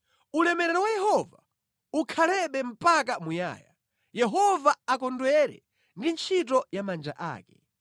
Ulemerero wa Yehova ukhalebe mpaka muyaya; Yehova akondwere ndi ntchito ya manja ake;